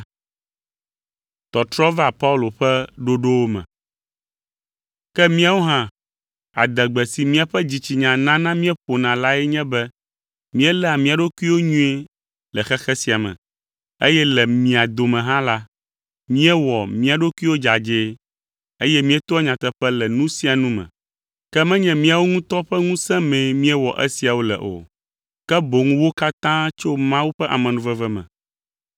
Ke míawo hã, adegbe si míaƒe dzitsinya nana míeƒona lae nye be míeléa mía ɖokuiwo nyuie le xexe sia me, eye le mia dome hã la, míewɔ mía ɖokuiwo dzadzɛe, eye míetoa nyateƒe le nu sia nu me. Ke menye míawo ŋutɔ ƒe ŋusẽ mee míewɔ esiawo le o, ke boŋ wo katã tso Mawu ƒe amenuveve me.